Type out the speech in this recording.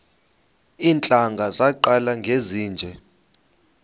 iintlanga zaqala ngezinje